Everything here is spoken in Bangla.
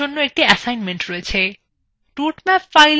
এখানে আপনার জন্য একটি এসাইনমেন্ট রয়েছে